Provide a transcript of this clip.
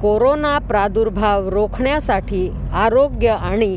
corona प्रादुर्भाव रोखण्यासाठी आरोग्य आणि